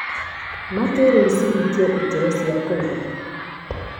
ma kĩrĩu cihingĩtie ikĩro cia kũiga